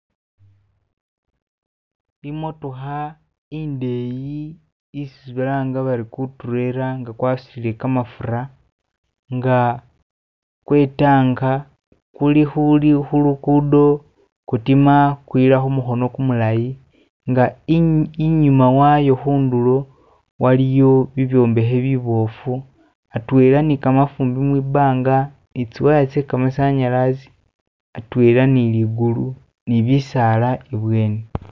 Imotoka indeyi isi balanga bati guturela nga gwasudile gamafuta nga gwetanka kuli kulugudo gudima gwila kumukono gumulayi nga inyuma wayo kuntulo waliyo bibyombaki bigali ateena ni gamafumbi mwibbanga ni ziwaya ze gamasanyazi adwena ni ligulu ni bisala imaso.